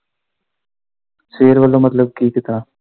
ਸਵੇਰ ਵੱਲੋਂ ਮਤਲਬ ਕੀ ਕਿਦਾ।